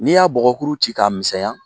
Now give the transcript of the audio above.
N' y'a bɔgɔkuru ci k'a misɛnya